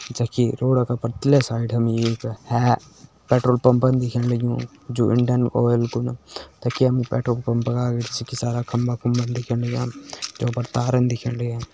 जखि रोडअ का पर-तिले साइड हमि एक है-है पेट्रोल पंपन दिखेण लग्युं जो इंडियन आयल कु ना तखि हमि पेट्रोल पंप का अगाड़ी छकि सारा खम्बा खुम्बा दिखेण लग्यां जों पर तारन दिखेण लग्यां।